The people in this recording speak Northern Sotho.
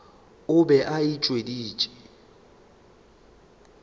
o be a e hweditše